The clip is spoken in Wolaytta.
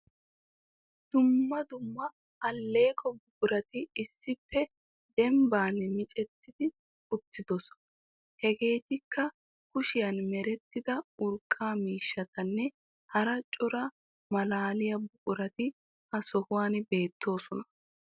Dumma dumma aleeqqo buquratti issippe demban micetti uttidosona. Hegeetikka kushiyan merettida urqqa miishshattanne hara cora malaliya buqurati ha sohuwan beettossona.